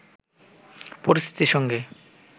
পরিস্থিতির সঙ্গে